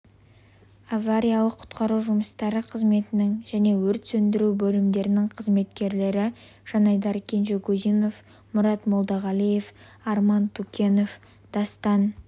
авариялық-құтқару жұмыстары қызметінің және өрт сөндіру бөлімдерінің қызметкерлері жанайдар кенжегузинов мұрат молдағалиев арман тукенов дастан